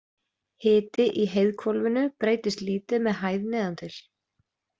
Hiti í heiðhvolfinu breytist lítið með hæð neðan til.